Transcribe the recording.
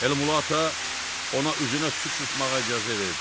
Elmulato ona üzünə su çırpmağa icazə verdi.